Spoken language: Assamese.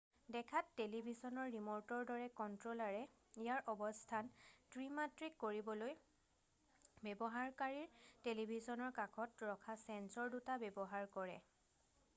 দেখাত টেলিভিছনৰ ৰিম'টৰ দৰে কণ্ট্ৰ'লাৰে ইয়াৰ অৱস্থান ত্ৰি-মাত্ৰিক কৰিবলৈ ব্যৱহাৰকাৰীৰ টেলিভিছনৰ কাষত ৰখা ছেন্সৰ দুটা ব্যৱহাৰ কৰে